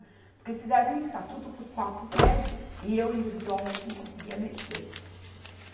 Porque eles fizeram um estatuto para os quatro prédios, e eu individualmente não conseguia mexer.